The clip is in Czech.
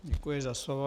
Děkuji za slovo.